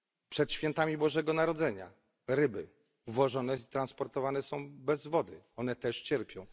Przed świętami Bożego Narodzenia ryby transportowane są bez wody. One też cierpią.